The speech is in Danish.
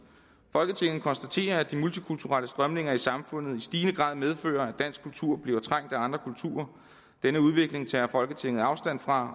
folketinget konstaterer at de multikulturelle strømninger i samfundet i stigende grad medfører at dansk kultur bliver trængt af andre kulturer denne udvikling tager folketinget afstand fra